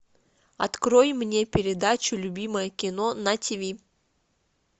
открой мне передачу любимое кино на тв